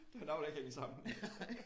Der er noget der ikke hænger sammen